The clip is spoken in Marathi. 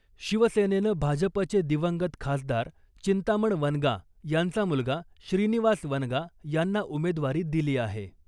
शिवसेनेनं भाजपचे दिवंगत खासदार चिंतामण वनगा यांचा मुलगा श्रीनिवास वनगा यांना उमेदवारी दिली आहे .